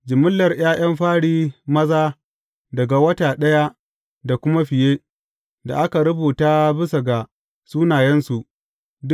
Jimillar ’ya’yan fari maza daga wata ɗaya da kuma fiye, da aka rubuta bisa ga sunayensu, ne.